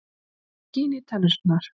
Það skín í tennurnar.